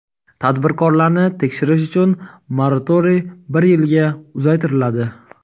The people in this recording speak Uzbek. Tadbirkorlarni tekshirish uchun moratoriy bir yilga uzaytiriladi.